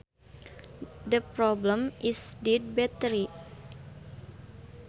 The problem is a dead battery